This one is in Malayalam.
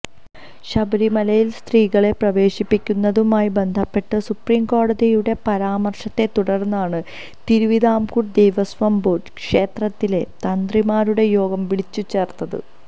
ശബരിമലയില് സ്ത്രീകളെ പ്രവേശിപ്പിക്കുന്നതുമായി ബന്ധപ്പെട്ട് സുപ്രീം കോടതിയുടെ പാരാമര്ശത്തെതുടര്ന്നാണ് തിരുവിതാംകൂര് ദേവസ്വം ബോര്ഡ് ക്ഷേത്രത്തിലെ തന്ത്രിമാരുടെ യോഗം വിളിച്ചു ചേര്ത്തത്